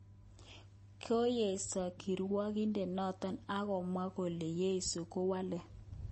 Koyesho kirwoget noton akomwa kole yesho kwopelen .